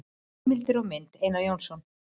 Heimildir og mynd: Einar Jónsson.